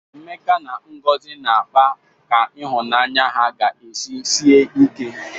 Emeka na Ngozi na-akpa ka ịhụnanya ha ga-esi sie ike.